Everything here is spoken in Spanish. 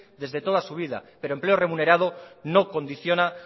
desde toda su vida pero empleo remunerado no condiciona